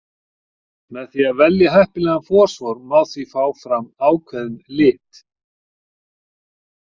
Með því að velja heppilegan fosfór má því fá fram ákveðinn lit.